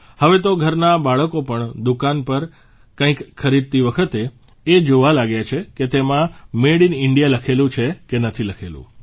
હવે તો ઘરનાં બાળકો પણ દુકાન પર કંઇક ખરીદતી વખતે એ જોવા લાગ્યા છે કે તેમાં મેડ ઇન ઇન્ડિયા લખેલું છે કે નથી લખેલું